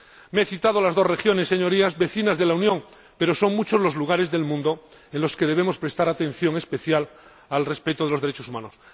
Señorías, he citado las dos regiones vecinas de la Unión, pero son muchos los lugares del mundo en los que debemos prestar atención especial al respeto de los derechos humanos.